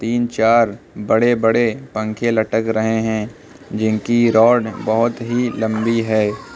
तीन चार बड़े बड़े पंखे लटक रहे हैं जिनकी रोड बहोत ही लंबी है।